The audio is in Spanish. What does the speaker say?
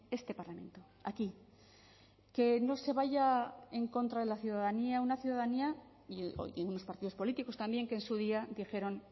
este parlamento aquí que no se vaya en contra de la ciudadanía una ciudadanía y unos partidos políticos también que en su día dijeron